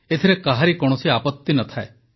ଏଥିରେ କାହାରି କୌଣସି ଆପତି ନ ଥାଏ